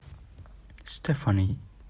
стэфани